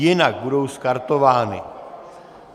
Jinak budou skartovány.